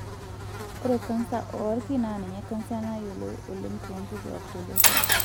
Ore kansa oolki naa ninye kansa nayioloi oleng' toonkituak tolosho.